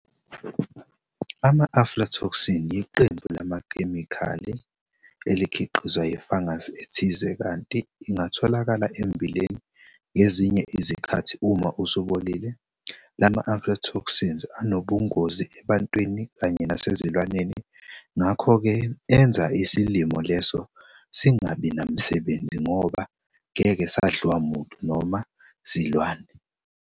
Ama-Aflatoxins yiqembu lamakhemikhali elikhiqizwa yifungus ethize kanti ingatholakala emmbileni ngezinye izikhathi uma usubolile. Lama-aflatoxins anobungozi ebantwini kanye nasezilwaneni, ngakho-ke enza isilimo leso singabi namsebenzi ngoba ngeke sadliwa muntu noma silwane.